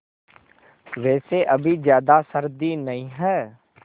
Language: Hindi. वैसे अभी ज़्यादा सर्दी नहीं है